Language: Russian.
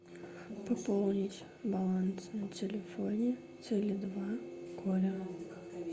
пополнить баланс на телефоне теле два коле